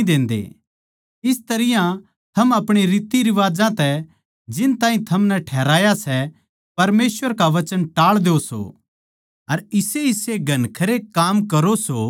इस तरियां थम आपणी रीतरिवाजां तै जिन ताहीं थमनै ठहराया सै परमेसवर का वचन टाळ द्यो सो अर इसेइसे घणखरे काम करो सो